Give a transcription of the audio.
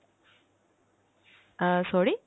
অ্যাঁ sorry!